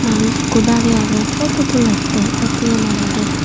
manuj ikko darey agey futu tulettey etiem anorey.